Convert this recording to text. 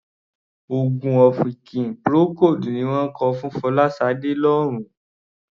Òogùn ọ̀fìnkì Procold ni ó ń kun Fọláṣadé lórun.